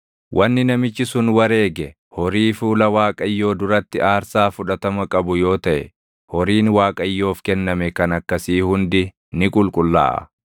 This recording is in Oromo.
“ ‘Wanni namichi sun wareege horii fuula Waaqayyoo duratti aarsaa fudhatama qabu yoo taʼe horiin Waaqayyoof kenname kan akkasii hundi ni qulqullaaʼa.